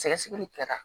Sɛgɛsɛgɛli kɛra